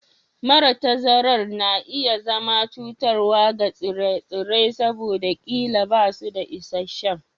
Mara tazarar na iya zama cutarwa ga tsire-tsire saboda ƙila ba su da isasshen